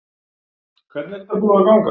Hvernig er þetta búið að ganga?